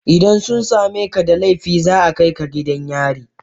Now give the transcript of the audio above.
idan sun same ka da laifi za a kai ka gidan yari.